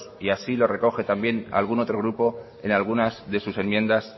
y así lo recoge también algún otro grupo en algunas de sus enmiendas